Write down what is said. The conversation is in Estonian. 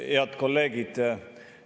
Head kolleegid!